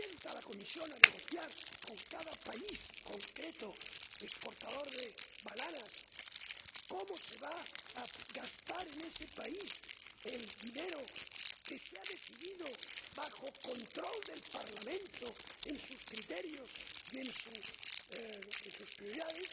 la Comisión se sienta a negociar con cada país concreto exportador de bananas cómo se va a gastar en ese país el dinero que se ha decidido, bajo control del Parlamento, según sus criterios y sus prioridades,